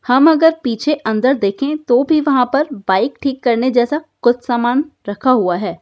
हम अगर पीछे अंदर देखें तो भी वहाँ पर बाइक ठीक करने जैसा कुछ समान रखा हुआ है।